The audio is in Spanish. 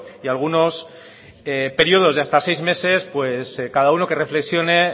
y algunos periodos de hasta seis meses pues cada uno que reflexione